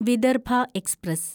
Vidarbha express